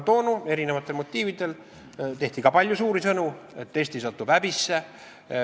Toona tehti eri motiividel ka palju suuri sõnu selle kohta, et Eesti satub häbisse.